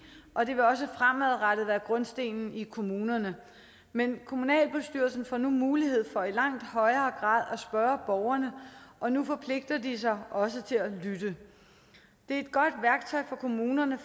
og det vil også fremadrettet være grundstenen i kommunerne men kommunalbestyrelserne får nu mulighed for i langt højere grad at spørge borgerne og nu forpligter de sig også til at lytte det er et godt værktøj for kommunerne